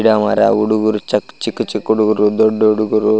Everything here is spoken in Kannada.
ಗಿಡ ಮರ ಹುಡುಗರು ಚಕ್ ಚಿಕ್ಕ ಚಿಕ್ಕ ಹುಡುಗರು ದೊಡ್ಡ ಹುಡುಗರು --